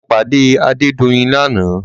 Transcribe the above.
Mo pàdé Adédoyin ní àná.